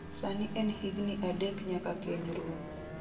Sani en higni adek nyaka keny rum.